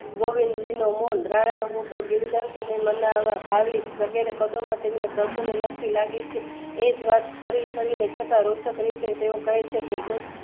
ગોવિંદ મીનો મોલ રાણા હૂતો ગીર ઘરની મનાવવા ભાવીશ વગેરે પદોમાં તેમણે પ્રભુની લગણી લાગી છે. એક વર્ષ ફરી તેમણે છતાં રુચક રીતે તેઓ કહેછેકે ગો